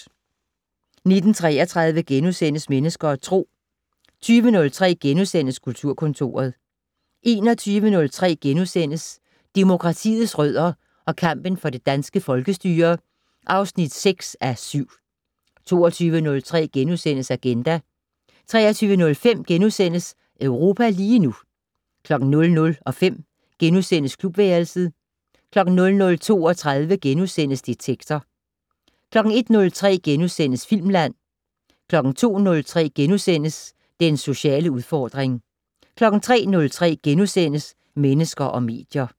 19:33: Mennesker og Tro * 20:03: Kulturkontoret * 21:03: Demokratiets rødder og kampen for det danske folkestyre (6:7)* 22:03: Agenda * 23:05: Europa lige nu * 00:05: Klubværelset * 00:32: Detektor * 01:03: Filmland * 02:03: Den sociale udfordring * 03:03: Mennesker og medier *